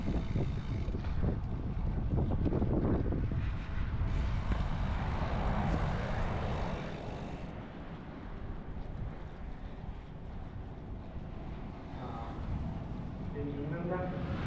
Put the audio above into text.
ആഹ് പിന്നെന്താ?